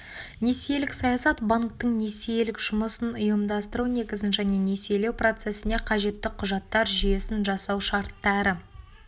несиелік саясат банктің несиелік жұмысын ұйымдастыру негізін және несиелеу процесіне қажетті құжаттар жүйесн жасау шарттары